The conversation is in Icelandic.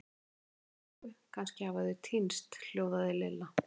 Ég verð að hringja í Rikku, kannski hafa þau týnst hljóðaði Lilla.